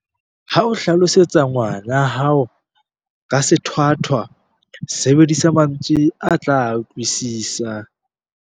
Ha o hlalosetsa ngwana hao ka sethwathwa, sebedisa mantswe a tla a utlwisisa.